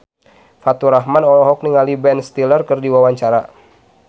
Faturrahman olohok ningali Ben Stiller keur diwawancara